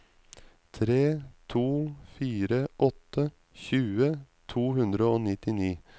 tre to fire åtte tjue to hundre og nittini